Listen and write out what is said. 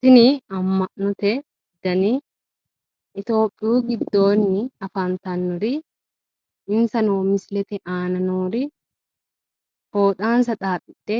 Tini ama'note dani itiyopiyu giddoonni afantannori insano misilete aana noori fooxansa xaaxidhe